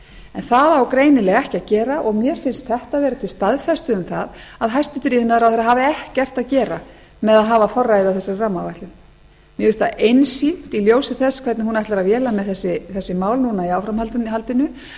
en það á greinilega ekki að gera og mér finnst þetta vera til staðfestu um það að hæstvirtur iðnaðarráðherra hafi ekkert að gera með að hafa forræðið á þessari rammaáætlun mér finnst það einsýnt í ljósi þess hvernig hún ætlar að véla með þessi mál núna í áframhaldinu